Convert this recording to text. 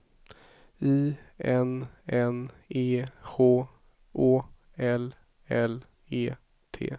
I N N E H Å L L E T